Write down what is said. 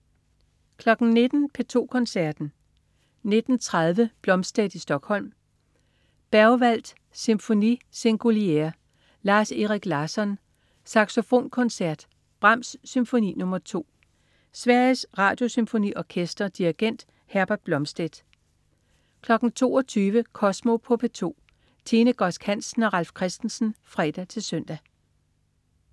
19.00 P2 Koncerten. 19.30 Blomstedt i Stockholm. Berwald: Sinfonie singulière. Lars-Erik Larsson: Saxofonkoncert. Brahms: Symfoni nr. 2. Sveriges Radiosymfoniorkester. Dirigent: Herbert Blomstedt 22.00 Kosmo på P2. Tine Godsk Hansen og Ralf Christensen (fre-søn)